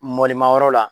Mɔdi mangoro la